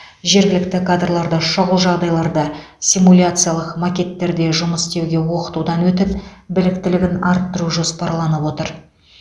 жергілікті кадрларды шұғыл жағдайларда симуляциялық макеттерде жұмыс істеуге оқытудан өтіп біліктілігін арттыру жоспарланып отыр